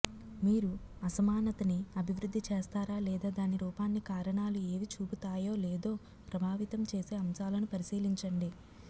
మీరు అసమానతని అభివృద్ధి చేస్తారా లేదా దాని రూపాన్ని కారణాలు ఏవి చూపుతాయో లేదో ప్రభావితం చేసే అంశాలను పరిశీలించండి